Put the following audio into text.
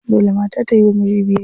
Dole mata ta yiwa miji biyayya.